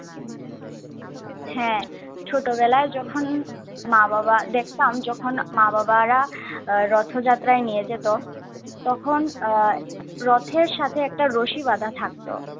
হ্যাঁ ছোটবেলায় যখন মা-বাবা দেখতাম যখন মা বাবারা রথযাত্রায় নিয়ে যেত তখন আহ রথের সাথে একটা রশি বাঁধা থাকতো